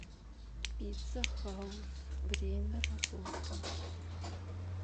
пицца хаус время работы